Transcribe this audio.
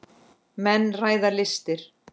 Menn ræða listir.